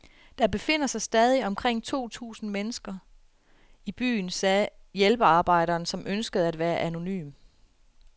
Der befinder sig stadig omkring to tusind mennesker i byen, sagde hjælpearbejderen, som ønskede at være anonym.